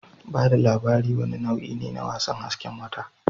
Ba da labari wani nau'i ne na wasan hasken wata